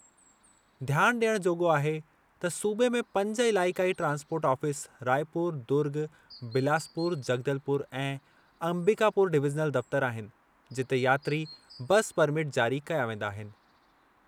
ध्यान ॾियणु जोॻो आहे त सूबे में पंज इलाइक़ाई ट्रांसपोर्ट ऑफ़िस रायपुर, दुर्ग, बिलासपुर, जगदलपुर ऐं अंबिकापुर डिवीज़नल दफ़्तर आहिनि, जिते यात्री बस परमिट जारी कया वेंदा आहिनि।